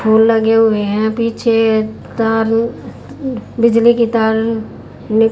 फूल लगे हुए हैं पीछे तार उँ बिजली के तार नि--